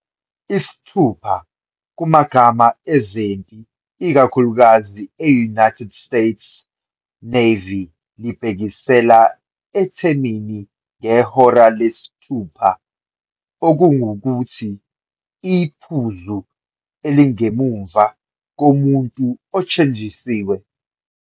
Isithupha, kumagama ezempi, ikakhulukazi e-United States Navy, libhekisela ethemini "ngehora lesithupha", okungukuthi, iphuzu elingemuva komuntu othenjisiwe.